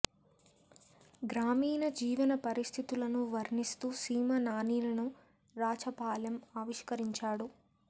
గ్రామీణ జీవన పరిస్థితులను వర్ణి స్తూ సీమ నానీలును రాచపాళెం ఆవిష్కరించాడు